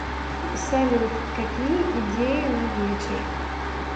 салют какие идеи на вечер